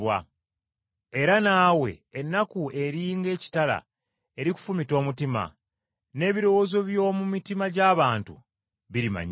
Era naawe ennaku eri ng’ekitala erikufumita omutima, n’ebirowoozo by’omu mitima gy’abantu birimanyibwa.”